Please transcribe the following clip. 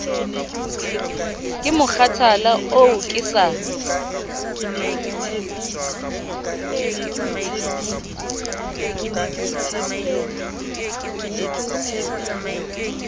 ke mokgathala oo ke sa